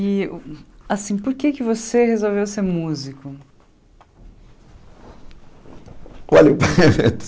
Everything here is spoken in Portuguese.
E, assim, por que você resolveu ser músico? Olhe